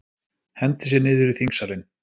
Henti sér niður í þingsalinn